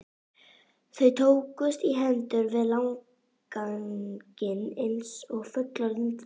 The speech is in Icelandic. Þau tókust í hendur við landganginn eins og fullorðið fólk.